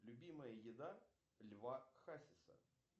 любимая еда льва хасиса